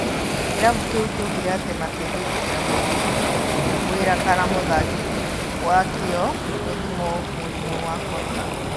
Kĩrabu kĩu kĩaugire atĩ metigũĩtĩkĩria mũruti wĩra kana mũthaki wakĩo gũthimwo mũrimũ wa Korona.